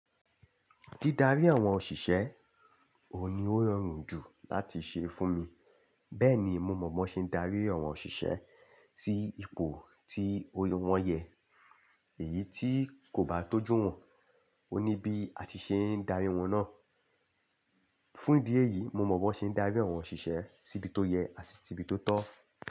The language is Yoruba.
Dídarí àwọn òṣìṣẹ́ òun ni ó rọrùn jù láti ṣe fún mi. Bẹ́ẹ̀ni, mo mọ̀ bó ṣe ń darí àwọn òṣìṣẹ́ sí ipò tí wọ́n yẹ, èyí tí kò bá kọ́jú wọ́n, ó ní bí a ti ṣe ń darí wọn náà. Fún ìdí èyí, mo mọ̀ bó ṣe ń darí àwọn òṣìṣẹ́ síbi tó yẹ àti sí bí tó tọ́.